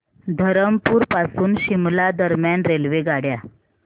धरमपुर पासून शिमला दरम्यान रेल्वेगाड्या